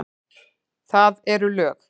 Það eru lög.